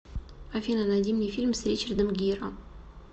афина найди мне фильм с ричардом гиро